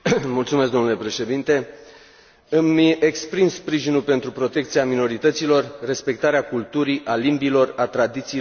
Îmi exprim sprijinul pentru protecția minorităților, respectarea culturii, a limbilor, a tradițiilor și obiceiurilor acestora.